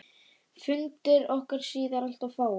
Fundir okkar síðar alltof fáir.